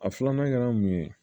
A filanan kɛra mun ye